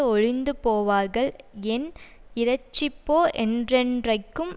ஒழிந்து போவார்கள் என் இரட்சிப்போ என்றென்றைக்கும்